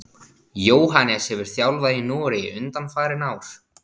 Jóhannes hefur þjálfað í Noregi undanfarin ár.